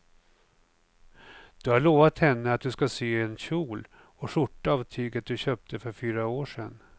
Du har lovat henne att du ska sy en kjol och skjorta av tyget du köpte för fyra år sedan.